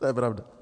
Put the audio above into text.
To je pravda.